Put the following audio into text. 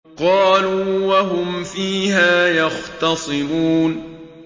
قَالُوا وَهُمْ فِيهَا يَخْتَصِمُونَ